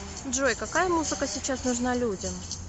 джой какая музыка сейчас нужна людям